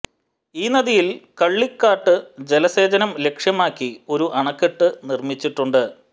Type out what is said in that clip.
ഈ നദിയിൽ കള്ളിക്കാട്ട് ജലസേചനം ലക്ഷ്യമാക്കി ഒരു അണക്കെട്ട് നിർമിച്ചിട്ടുണ്ട്